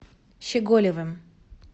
щеголевым